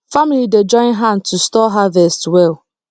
family dey join hand to store harvest well